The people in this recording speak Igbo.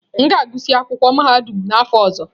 M ga-agụsị akwụkwọ mahadum n'afọ ọzọ.